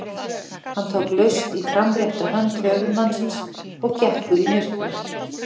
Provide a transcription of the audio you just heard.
Hann tók laust í framrétta hönd höfuðsmannsins og gekk út í myrkrið.